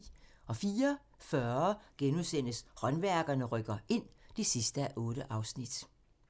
04:40: Håndværkerne rykker ind (8:8)*